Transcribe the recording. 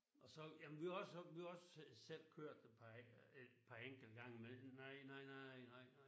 Og så jamen vi har vi har også vi har også selv selv kørt et par et par enkelte gange men nej nej nej nej nej